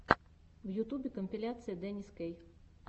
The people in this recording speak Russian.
в ютубе компиляция денис кей